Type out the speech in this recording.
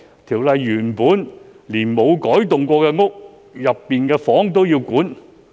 《條例草案》連原本無改動過的單位都要規管。